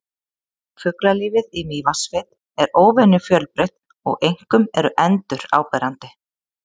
Fuglalífið í Mývatnssveit er óvenju fjölbreytt og einkum eru endur áberandi.